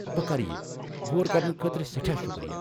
بہٕ کرٕ یہِ، غور کرنہٕ خٲطرٕ سٮ۪ٹھاہ شکریہ!